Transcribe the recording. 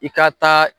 I ka taa